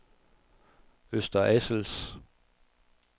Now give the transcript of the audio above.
Øster Assels